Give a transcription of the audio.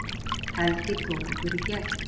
Helgi tók okkur í gegn